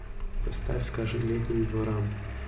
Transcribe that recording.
поставь скажи летним дворам